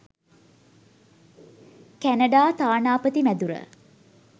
Canada තානාපති මැදුර.